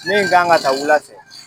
Min kan ka ta wula fɛ